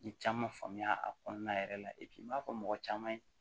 N ye caman faamuya a kɔnɔna yɛrɛ la n b'a fɔ mɔgɔ caman ye